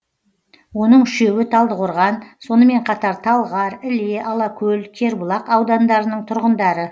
оның үшеуі талдықорған сонымен қатар талғар іле алакөл кербұлақ аудандарының тұрғындары